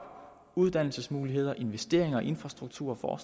uddannelsesmuligheder og investeringer i infrastruktur og